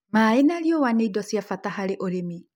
Maaĩ na riũa nĩ indo cia bata harĩ ũrĩmi